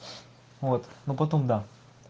вот ну потом да